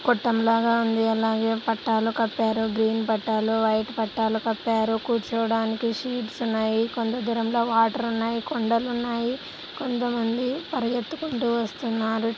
గొట్టం లాగ ఉంది. అలాగే పట్టాలు కప్పారు గ్రీన్ పట్టాలు వైట్ పట్టాలు కప్పారు కూర్చోడానికి షీట్స్ ఉన్నాయి కొంత దూరంలో వాటర్ ఉన్నాయి కొండలున్నాయి కొంతమంది పరిగెత్తుకుంటూ వస్తున్నారు.